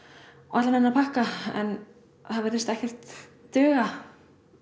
allan þennan pakka það virðist ekkert duga